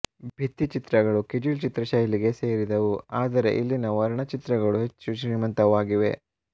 ಭಿತ್ತಿ ಚಿತ್ರಗಳು ಕಿಜಿಲ್ ಚಿತ್ರಶೈಲಿಗೇ ಸೇರಿದವು ಆದರೆ ಇಲ್ಲಿನ ವರ್ಣಚಿತ್ರಗಳು ಹೆಚ್ಚು ಶ್ರೀಮಂತವಾಗಿವೆ